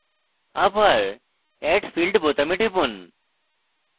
আবার add field বোতামে টিপুন